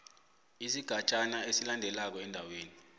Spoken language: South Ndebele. isigatjana esilandelako endaweni